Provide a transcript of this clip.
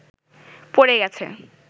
পড়ে গেছে